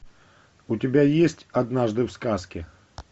у тебя есть однажды в сказке